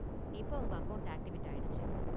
இப்ப உங்க account activate ஆயிடுச்சு.